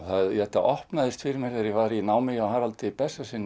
þetta opnaðist fyrir mér þegar ég var í námi hjá Haraldi